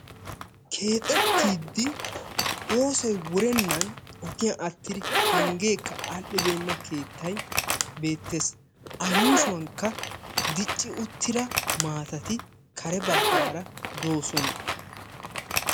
keexettiiddi oosoy wurennan ogiyan attidi penggeekka al'ibeenna keettay beettes. a yuushuwakka dicci uttida maatati kare baggaara doosona.